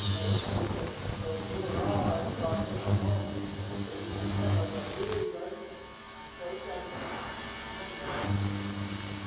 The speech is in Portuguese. Aí fazendo co cocô lá, batendo a mão, aí comendo outra vez, aí num isso aí para mim não não dá.